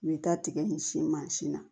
U bɛ taa tigɛ nin sin mansin na